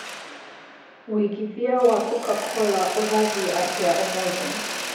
wĩĩgĩthĩa wa coca-cola ũrathĩ atĩa ũmũthi